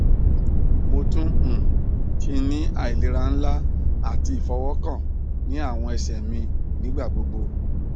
mo tun um ti ni ailera nla ati ifọwọkan ni awọn ẹsẹ mi nigbagbogbo